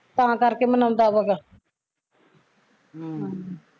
ਤਾਂ ਕਰ ਕੇ ਮਨਾਉਂਦਾ ਵਾ ਗਾ ਹਮ